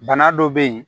Bana dɔ bɛ yen